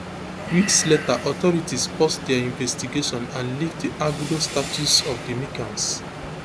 weeks later authorities pause dia investigation and lift di arguido status of di mccanns